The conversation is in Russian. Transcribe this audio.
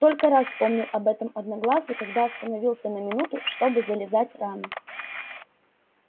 только раз вспомнил об этом одноглазый когда остановился на минуту чтобы зализать раны